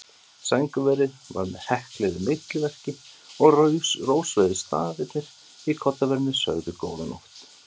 Sængurverið var með hekluðu milliverki og rósrauðir stafirnir í koddaverinu sögðu: Góða nótt.